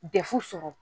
Dɛfu sɔrɔ